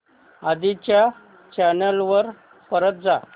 आधी च्या चॅनल वर परत जा